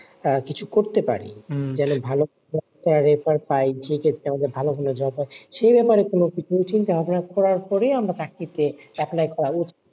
কিছু করতে পারি ভালো সে ক্ষেত্রে আমাদের ভালো ভালো সে ব্যাপারে কোন কিছু চিন্তা ভাবনা করার পরে আমরা চাকরিতে apply করা,